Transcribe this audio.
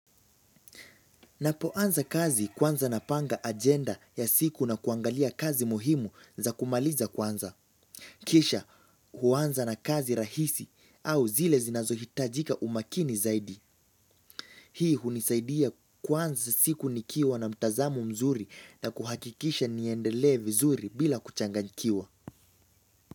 Napoanza kazi kwanza napanga ajenda ya siku na kuangalia kazi muhimu za kumaliza kwanza. Kisha huanza na kazi rahisi au zile zinazohitajika umakini zaidi. Hii hunisaidia kuanza siku nikiwa na mtazamo mzuri na kuhakikisha niendelee vizuri bila kuchanganikiwa.